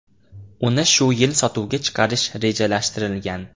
Uni shu yil sotuvga chiqarish rejalashtirilgan.